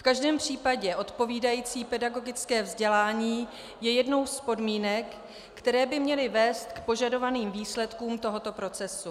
V každém případě odpovídající pedagogické vzdělání je jednou z podmínek, které by měly vést k požadovaným výsledkům tohoto procesu.